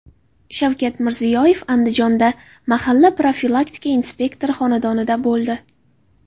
Shavkat Mirziyoyev Andijonda mahalla profilaktika inspektori xonadonida bo‘ldi.